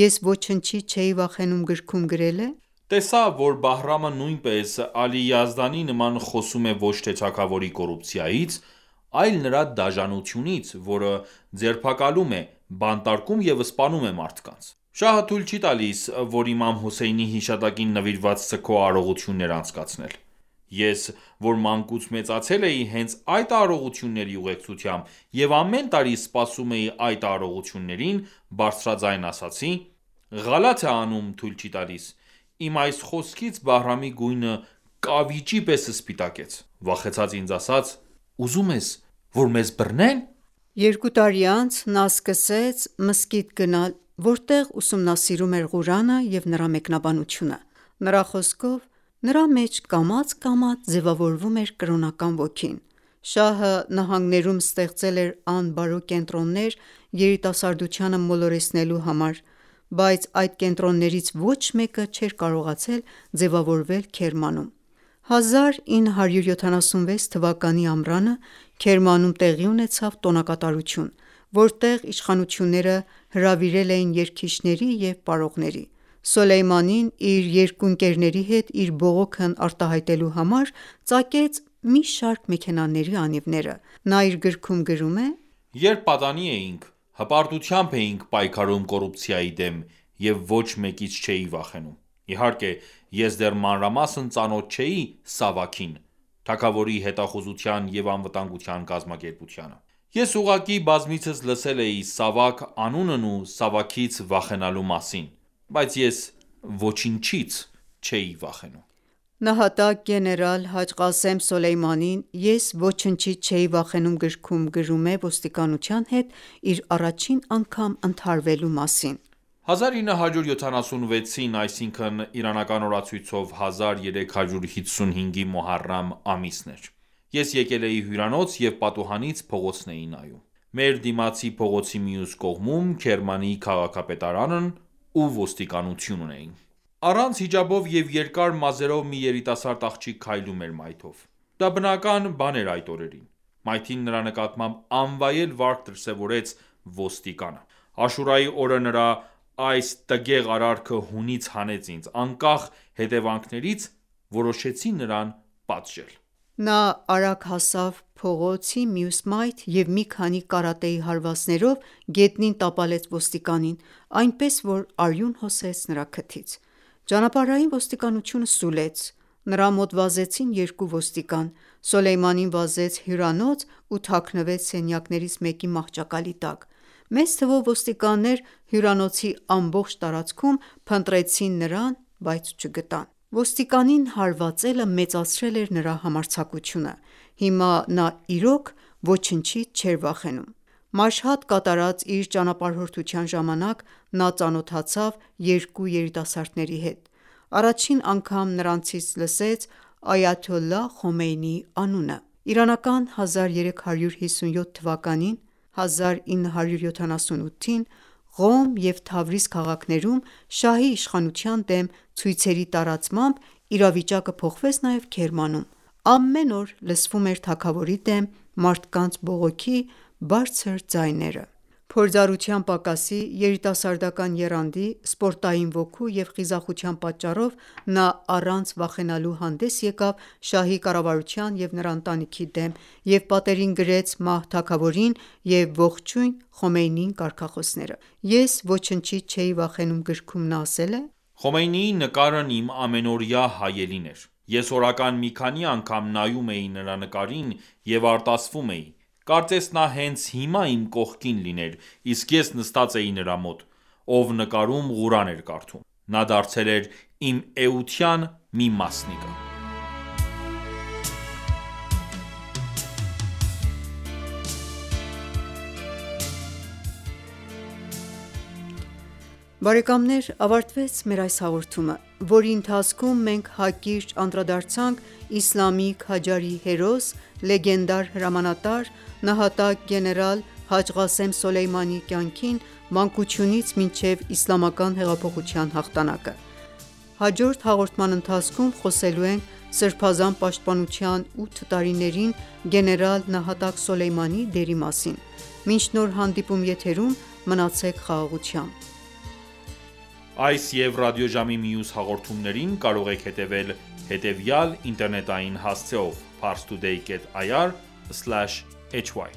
«Ես ոչնչից չէի վախենում» գրքում գրել է. «Տեսա, որ Բահրամը նույնպես Ալի Յազդանի նման խոսում է ոչ թե թագավորի կոռուպցիայից, այլ նրա դաժանությունից, որը ձերբակալում է, բանտարկում և սպանում է մարդկանց». Շահը թույլ չի տալիս, որ Իմամ Հուսեյնի հիշատակին նվիրված սգո արարողություններ անցկացնել։ Ես, որ մանկուց մեծացել էի հենց այդ արարողությունների ուղեկցությամբ և ամեն տարի սպասում էի այդ արարողություններին բարձրաձայն ասացի․-«Ղալաթ է անում թույլ չի տալիս։ Իմ այս խոսքից Բահրամի գույնը կավիճի պես սպիտակեց։ Վախեցած ինձ ասաց․-«Ուզում ես, որ մեզ բռնե՞ն»։ Երկու տարի անց նա սկսեց մզկիթ գնալ, որտեղ ուսումնասիրում էր Ղուրանը և նրա մեկնաբանությունը: Նրա խոսքով, նրա մեջ կամաց-կամաց ձևավորվում էր կրոնական ոգին։ Շահը նահանգներում ստեղծել էր անբարո կենտրոններ՝ երիտասարդությանը մոլորեցնելու համար։ Բայց այդ կենտրոններից ոչ մեկը չէր կարողացել ձեւավորվել Քերմանում։ 1355 (1976 թ.) թվականի ամռանը Քերմանում տեղի ունեցավ տոնակատարություն, որտեղ իշխանությունները հրավիրել էին երգիչների և պարողների։ Սոլեյմանին իր երկու ընկերների հետ իր բողոքն արտահայտելու համար ծակեց մի շարք մեքենաների անիվները։ Նա իր գրքում գրել է․- «Երբ պատանի էինք, հպարտությամբ էինք պայքարում կոռուպցիայի դեմ և ոչ մեկից չէի վախենում։ Իհարկե, ես դեռ մանրամասն ծանոթ չէի ՍԱՎԱՔ-ին (Թագավորի հետախուզության և անվտանգության կազմակերպություն): Ես ուղղակի բազմիցս լսել էի Սավաք անունն ու Սավաքից վախենալու մասին ։ Բայց ես ոչնչից չէի վախենում»։ Նահատակ գեներալ Հաջ Ղասոմ Սոլեյմանին «Ես ոչնչից չէի վախենում» գրքում գրում է ոստիկանության հետ իր առաջին անգամ ընդհարվելու մասին։ «1355 (1976) Մուհարամ ամիսն էր... Ես եկել էի հյուրանոց և պատուհանից փողոցն էի նայում։ Մեր դիմացի փողոցի մյուս կողմում Քերմանի քաղաքապետարանն ու ոստիկանությունն էին։ Առանց հիջաբով և երկար մազերով մի երիտասարդ աղջիկ քայլում էր մայթով։ Դա բնական բան էր այդ օրերին։ Մայթին նրա նկատմամբ անվայել վարք դրսևորեց ոստիկանը։ Աշուրայի օրը նրա այս տգեղ արարքը հունից հանեց ինձ։ Անկախ հետեւանքներից՝ որոշեցի նրան պատժել։ Նա արագ հասավ փողոց մյուս մայթ և մի քանի կարատեի հարվածներով գետնին տապալեց ոստիկանին։ Այնպես որ արյուն հոսեց նրա քթից։ Ճանապարհային ոստիկանությունը սուլեց։ Նրա մոտ վազեցին երկու ոստիկան։ Սոլեյմանին վազեց հյուրանոց ու թաքնվեց սենյակներից մեկի մահճակալի տակ։ Մեծ թվով ոստիկաններ հյուրանոցի ամբողջ տարածքում փնտրեցին նրան բայց չգտան։ Ոստիկանին հարվածելը մեծացրել էր նրա համարձակությունը։ Հիմա նա իրոք ոչնչից չէր վախենում։ Մաշհադ կատարած իր ճանապարհորդության ժամանակ նա ծանոթացավ երկու երիտասարդների հետ։ Առաջին անգամ նրանցից լսեց այաթոլլա Խոմեյնիի անունը։ 1357 թվականին (1978 թ.) Ղոմ և Թավրիզ քաղաքներում շահի իշխանության դեմ ցույցերի տարածմամբ իրավիճակը փոխվեց նաև Քերմանում։ Ամեն օր լսվում էր թագավորի դեմ մարդկանց բողոքի բարձր ձայները։ Փորձառության պակասի, երիտասարդական եռանդի, սպորտային ոգու և խիզախության պատճառով, նա առանց վախենալու հանդես եկավ շահի կառավարության և նրա ընտանիքի դեմ և պատերին գրեց «Մահ թագավորին» և «Ողջույն Խոմեյնիին» կարգախոսներ։ «Ես ոչնչից չէի վախենում» գրքում նա ասել է.«Խոմեյնիի նկարն իմ ամենօրյա հայելին էր։ Ես օրական մի քանի անգամ նայում էի նրա նկարին և արտասվում էի։ Կարծես նա հենց հիմա իմ կողքին լիներ, իսկ ես նստած էի նրա մոտ, ով նկարում Ղուրան էր կարդում։ Նա դարձել էր իմ էության մի մասնիկը»։ Բարեկամներ ավարտվեց մեր այս հաղորդումը, որի ընթացքում մենք հակիրճ անդրադարձանք իսլամի քաջարի հերոս՝ լեգենդար հրամանատար՝ նահատակ գեներալ Հաջ Ղասեմ Սոլեյմանիի կյանքին՝ մանկությունից մինչև Իսլամական հեղափոխության հաղթանակը։ Հաջորդ հաղորդման ընթացքում խոսելու ենք սրբազան պաշտպանության 8 տարիներին գեներալ նահատակ Սոլեյմանիի դերի մասին։ Մինչ նոր հանդիպում եթերում մնացեք խաղաղությամբ։ Աստված Ձեզ պահապան։ Այս և ռադիոժամի մյուս հաղորդումներին կարող եք հետևել հետևյալ ինտերնետային հասցեով՝ Parstoday.ir/hy